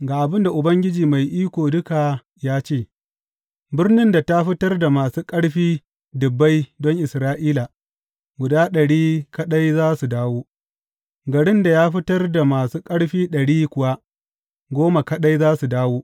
Ga abin da Ubangiji Mai Iko Duka ya ce, Birnin da ta fitar da masu ƙarfi dubbai don Isra’ila guda ɗari kaɗai za su dawo; garin da ya fitar da masu ƙarfi ɗari kuwa goma kaɗai za su dawo.